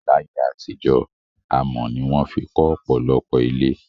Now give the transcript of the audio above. Láyé àtijó, amò ni won fi kó òpòlopò ilé